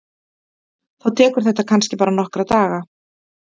Þá tekur þetta kannski bara nokkra daga.